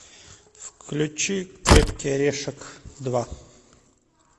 включи крепкий орешек два